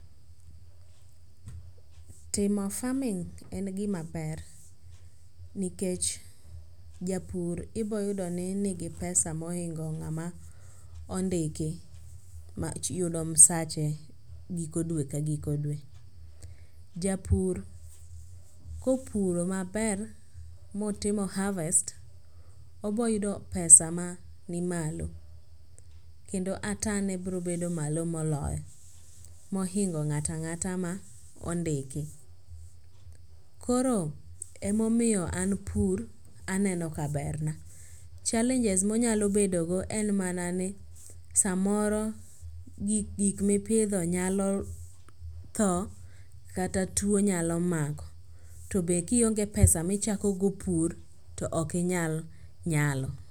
Timo farming en gimaber nikech japur iboyudo ni nigi pesa mohingo ng'ama ondiki mayudo msache giko dwe ka giko dwe. Japur kopuro maber motimo harvest ,oboyudo pesa ma nimalo ,kendo atane bro bedo malo moloyo, mohingo ng'ata ng'ata ma ondiki. Koro emomiyo an pur aneno kaber na . challenges monyalo bedogo en mana ni samoro gik mipidho nyalo tho kata tuwo nyalo mako, to be kionge pesa michakogo pur, to ok inyal nyalo.